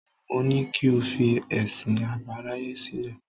Mo ní kí o fi ẹ̀sìn àbáláyé sílẹ̀.